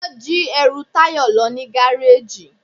wọn jí ẹru Tayo lo ni garejí.